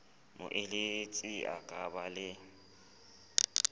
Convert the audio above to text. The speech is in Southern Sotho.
moeletsi a ka ba le